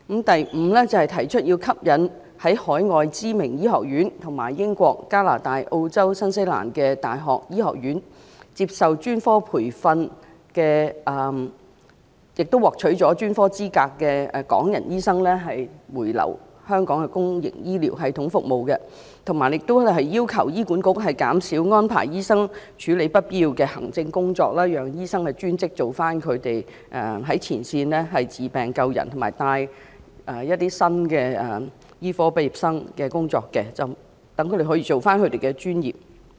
第五，吸引在海外知名醫學院和英國、加拿大、澳洲及新西蘭的大學醫學院接受專科培訓，並獲取專科資格的港人醫生回流到香港的公營醫療系統服務，以及要求醫院管理局減少安排醫生處理不必要的行政工作，讓專職的醫生做回他們的前線工作，包括治病救人及指導新醫科畢業生的工作，讓他們可以做回自己的專業工作。